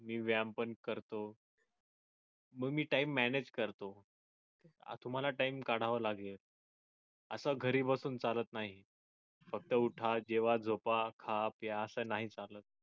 मी व्यायाम पण करतो. मग मी time manage करतो तुम्हाला time काढाव लागेल आस घरी बसून चालत नाही फक्त उठा जेवा झोपा खा प्या आस नाही चालत